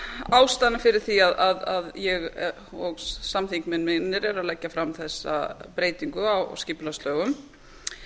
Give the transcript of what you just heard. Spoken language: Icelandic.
ástæðuna fyrir því að ég og samþingmenn mínir eru að leggja fram þessa breytingu á skipulagslögum